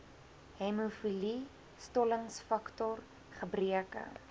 hemofilie stollingsfaktor gebreke